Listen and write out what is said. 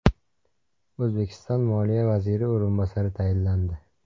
O‘zbekiston Moliya vaziri o‘rinbosari tayinlandi.